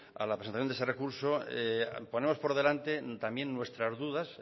a la presentación de ese recurso ponemos por delante también nuestras dudas